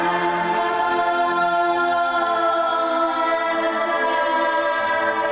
að